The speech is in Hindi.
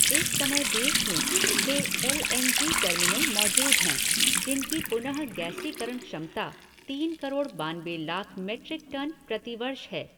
इस समय देश में छः एल एन जी टर्मिनल मौजूद हैं जिनकी पुनःगैसीकरण क्षमता तीन करोड़ बानबे लाख मेट्रिक टन प्रतिवर्ष है।